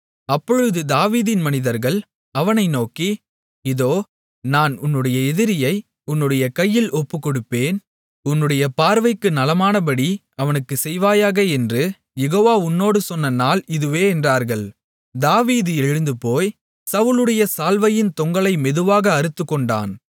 அப்பொழுது தாவீதின் மனிதர்கள் அவனை நோக்கி இதோ நான் உன்னுடைய எதிரியை உன்னுடைய கையில் ஒப்புக்கொடுப்பேன் உன்னுடைய பார்வைக்கு நலமானபடி அவனுக்குச் செய்வாயாக என்று யெகோவா உன்னோடு சொன்ன நாள் இதுவே என்றார்கள் தாவீது எழுந்துபோய் சவுலுடைய சால்வையின் தொங்கலை மெதுவாக அறுத்துக்கொண்டான்